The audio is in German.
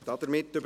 2019.RRGR.256